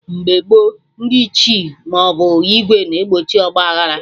Mgbe gboo, ndị Ichie maọbụ ìgwè na-egbochi ọgba aghara